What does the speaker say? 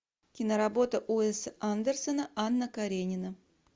киноработа уэса андерсона анна каренина